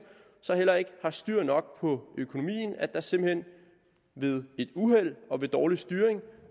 heller ikke har styr nok på økonomien at der simpelt hen ved et uheld og ved dårlig styring